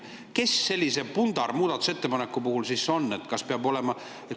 Kes sellise pundarmuudatusettepaneku puhul see peab olema?